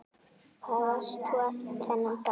Hvar varst þú þennan dag?